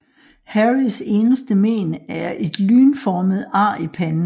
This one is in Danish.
Harrys eneste mén er et lynformet ar i panden